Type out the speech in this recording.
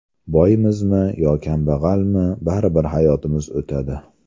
Boymizmi yo kambag‘almi, baribir hayotimiz o‘tadi.